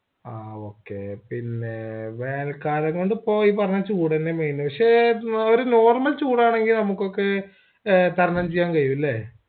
ആ okay പിന്നെ വേനൽ കാലംകൊണ്ട് ഇപ്പൊ ഈ പറഞ്ഞ ചൂട് തെന്നെ main പക്ഷേ ഒരു normal ചൂടാണെങ്കി നമ്മക്കൊക്കെ തരണംചെയ്യാൻകയ്യു അല്ലേ